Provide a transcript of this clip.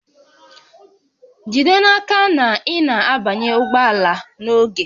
Jide n'aka na ị na-abanye ụgbọ ala n'oge